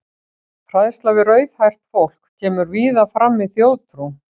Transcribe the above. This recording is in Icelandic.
Hræðsla við rauðhært fólk kemur víða fram í þjóðtrú.